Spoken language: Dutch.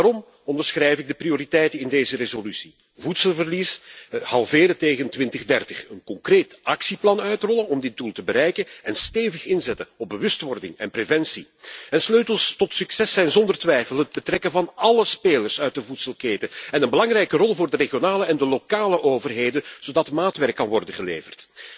Daarom onderschrijf ik de prioriteiten in deze resolutie voedselverlies halveren tegen 2030, een concreet actieplan uitrollen om dit doel te bereiken, en stevig inzetten op bewustwording en preventie. Sleutels tot succes zijn zonder twijfel het betrekken van alle spelers uit de voedselketen en een belangrijke rol voor de regionale en de lokale overheden zodat maatwerk kan worden geleverd.